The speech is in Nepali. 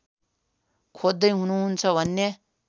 खोज्दै हुनुहुन्छ भने